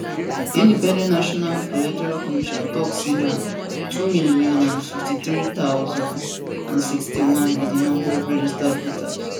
di independent national electoral commission tok say na 2053061 be di number of registered voters